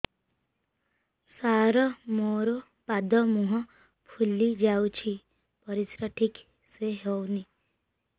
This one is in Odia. ସାର ମୋରୋ ପାଦ ମୁହଁ ଫୁଲିଯାଉଛି ପରିଶ୍ରା ଠିକ ସେ ହଉନି